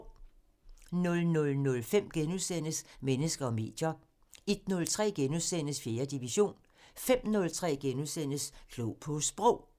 00:05: Mennesker og medier * 01:03: 4. division * 05:03: Klog på Sprog *